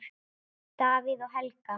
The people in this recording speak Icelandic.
Davíð og Helga.